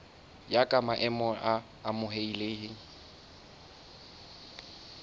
ya ka maemo a amohelehileng